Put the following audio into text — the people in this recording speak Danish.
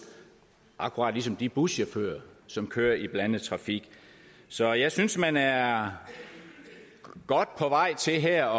akkurat som de buschauffører som kører i blandet trafik så jeg synes man er godt på vej til her